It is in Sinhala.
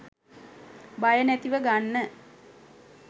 බය නැතිව ගන්න